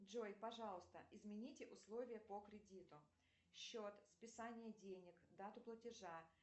джой пожалуйста измените условия по кредиту счет списание денет дату платежа